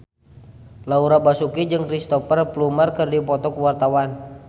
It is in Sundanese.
Laura Basuki jeung Cristhoper Plumer keur dipoto ku wartawan